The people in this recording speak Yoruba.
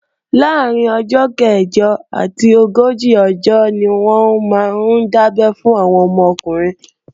Láàrín ọjọ́ kẹ̀jọ àti ogójì ọjọ́ ni wọ́n máa ń dábé fún àwọn ọmọ ọkùnrin